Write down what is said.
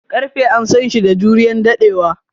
Karfe an San shi da juriyan daddewa.